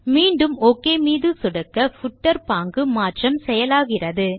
மீண்டும் ஒக் மீது சொடுக்க பூட்டர் பாங்கு மாற்றம் செயலாகிறது